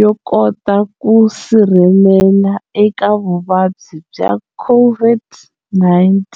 yo kota ku sirhelela eka vuvabyi bya COVID-19